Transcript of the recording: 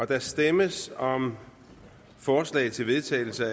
der stemmes om forslag til vedtagelse